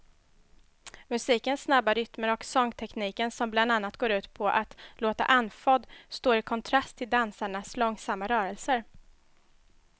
Musikens snabba rytmer och sångtekniken som bland annat går ut på att låta andfådd står i kontrast till dansarnas långsamma rörelser.